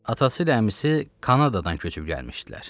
Atası ilə əmisi Kanadadan köçüb gəlmişdilər.